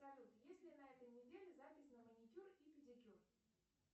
салют есть ли на этой неделе запись на маникюр и педикюр